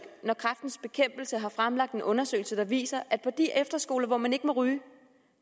når kræftens bekæmpelse har fremlagt en undersøgelse der viser at på de efterskoler hvor man ikke må ryge